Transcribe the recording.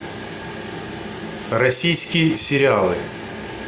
российские сериалы